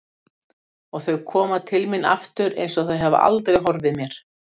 Og þau koma til mín aftur einsog þau hafi aldrei horfið mér.